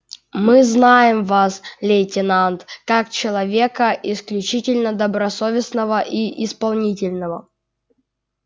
мы знаем вас лейтенант как человека исключительно добросовестного и исполнительного